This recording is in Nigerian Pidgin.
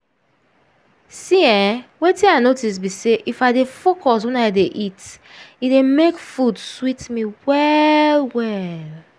see eh wetin i notice be say if i dey focus when i dey eat e dey make food sweet me well-well.